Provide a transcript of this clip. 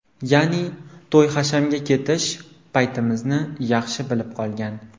Ya’ni, to‘y-hashamga ketish paytimizni yaxshi bilib qolgan.